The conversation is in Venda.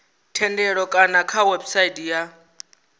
thendelo kana kha website ya